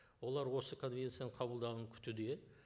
олар осы конвенцияның қабылдауын күтуде